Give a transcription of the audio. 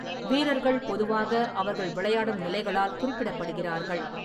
வீரர்கள் பொதுவாக அவர்கள் விளையாடும் நிலைகளால் குறிப்பிடப்படுகிறார்கள்.